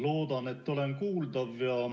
Loodan, et olen kuuldav.